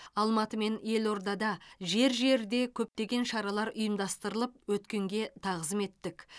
алматы мен елордада жер жерде көптеген шаралар ұйымдастырылып өткенге тағзым еттік